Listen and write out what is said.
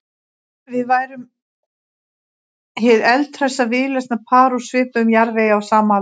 Við værum hið eldhressa víðlesna par úr svipuðum jarðvegi á sama aldri.